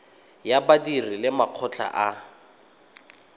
ya badiri le makgotla a